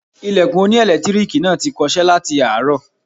Ilẹ̀kùn oní ẹ̀lẹ́tíríìkì náà ti kọṣẹ́ láti àárọ̀.